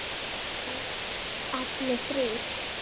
Allir þrír?